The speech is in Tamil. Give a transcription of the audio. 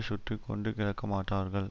சுற்றி கொண்டு கிடக்க மாட்டார்கள்